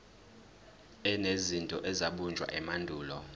enezinto ezabunjwa emandulo